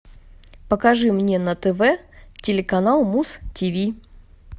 покажи мне на тв телеканал муз тв